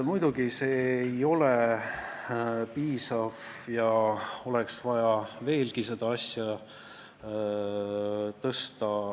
Muidugi, see ei ole piisav ja oleks vaja veelgi seda suurendada.